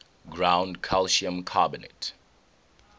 ground calcium carbonate